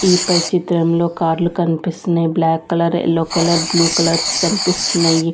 ఈ పై చిత్రంలో కార్లు కన్పిస్తున్నాయి black colour yellow colour blue colours కన్పిస్తున్నాయి.